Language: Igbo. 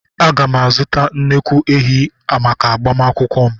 Aga m azụta nnukwu ehi maka agbamakwụkwọ m.